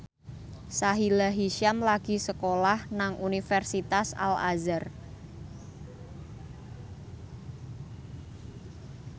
Sahila Hisyam lagi sekolah nang Universitas Al Azhar